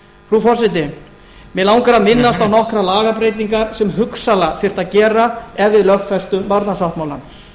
frú forseti mig langar að minnast á nokkrar lagabreytingar sem hugsanlega þyrfti að gera ef við lögfestum barnasáttmálann